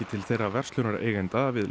til þeirra verslunareigenda við